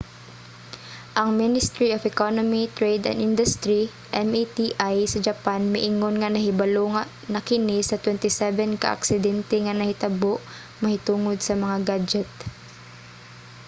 ang ministry of economy trade and industry meti sa japan miingon nga nahibalo na kini sa 27 ka aksidente nga nahitabo mahitungod sa mga gadyet